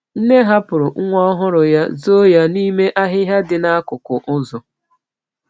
Nne hapụrụ nwa ọhụrụ ya, zoo ya n’ime ahịhịa dị n’akụkụ ụzọ.